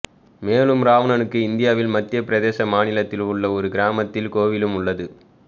மேலும் இராவணனுக்கு இந்தியாவில் மத்திய பிரதேச மாநிலத்தில் உள்ள ஒரு கிராமத்தில் கோவிலும் உள்ளது